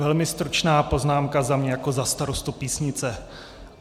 Velmi stručná poznámka za mě jako za starostu Písnice.